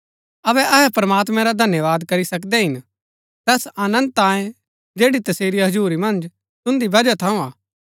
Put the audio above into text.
अबै अहै प्रमात्मैं रा धन्यवाद करी सकदै हिन तैस आनन्द तांयै जैड़ी तसेरी हजुरी मन्ज तुन्दी बजहा थऊँ हा